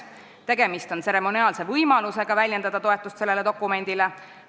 Tegemist on tseremoniaalse võimalusega väljendada toetust sellele dokumendile.